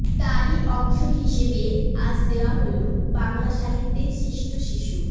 তারই অংশ হিসেবে আজ দেওয়া হলো বাংলা সাহিত্যের শ্রেষ্ঠ শিশু